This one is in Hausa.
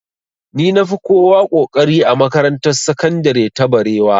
Ni na fi kowa ƙoƙari a makarantar sakandire ta barewa